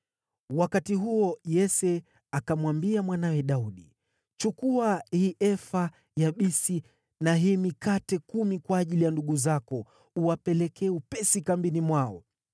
Wakati huo Yese akamwambia mwanawe Daudi, “Chukua hii efa ya bisi na hii mikate kumi kwa ajili ya ndugu zako uwapelekee upesi kambini mwao.